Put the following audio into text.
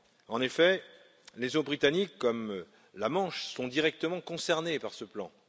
En effet, les eaux britanniques, comme la Manche, sont directement concernées par ce plan.